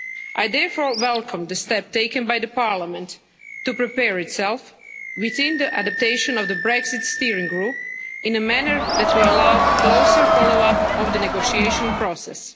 I therefore welcome the step taken by the Parliament to prepare itself within the adaptation of the Brexit Steering Group in a manner that will allow a closer follow-up of the negotiation process.